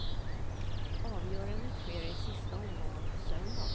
Avgörandet sker i sista omgången på söndag.